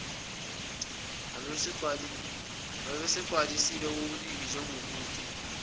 ubesewagcwalisile kokuningi njengobude